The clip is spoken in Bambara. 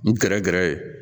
N gɛrɛ gɛrɛ ye